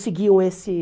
seguiam esse